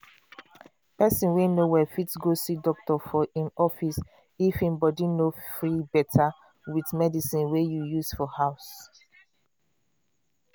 person wey no well fit go see doctor for i'm office if im body no free better with medicine wey you use for house